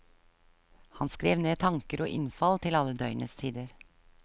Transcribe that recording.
Han skrev ned tanker og innfall til alle døgnets tider.